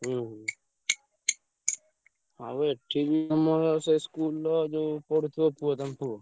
ହୁଁ ହୁଁ। ଆଉ ଏ~ ଠି~ ବି ଆମର ସେ school ର ଯୋଉ ପଢୁଥିବ ପୁଅ ତମ ପୁଅ।